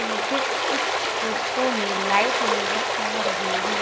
मुझे इस फोटो में लाइट नजर आ रही है।